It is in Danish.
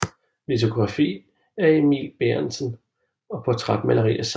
Litografi af Emil Bærentzen og portrætmaleri af samme